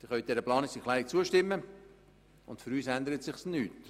Sie können dieser Planungserklärung zustimmen, aber für uns ändert sich nichts.